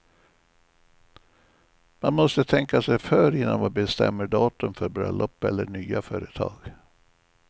Man måste tänka sig för innan man bestämmer datum för bröllop eller nya företag.